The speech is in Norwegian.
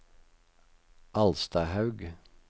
Alstahaug